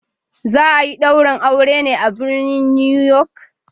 Za a yi daurin auren ne a birnin New York.